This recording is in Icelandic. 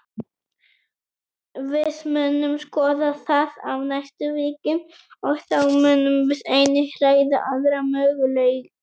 Við munum skoða það á næstu vikum, og þá munum við einnig ræða aðra möguleika.